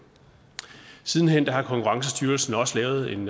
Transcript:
siden hen har konkurrencestyrelsen også lavet en